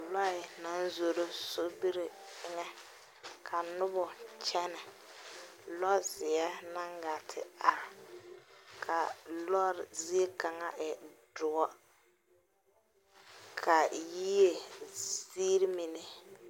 Lɔe na zoro sɔbir eŋe. Ka nobo kyene. Lɔ xie na gaa te are ka a lɔre zie kanga e duor. Ka a yieɛ zirr mene